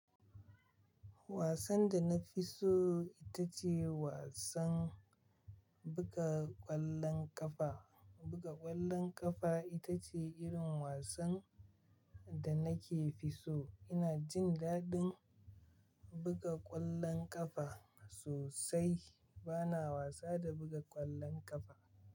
Wasan da na fi so ita ce wasan buga ƙwallon ƙafa. Buga ƙwallon ƙafa ita ce irin wasan da nake fi so. Ina jin daɗin buga ƙwallon ƙafa sosai. Bana wasa da buga ƙwallon ƙafa.